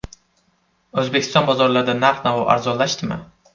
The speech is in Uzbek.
O‘zbekiston bozorlarida narx-navo arzonlashdimi?.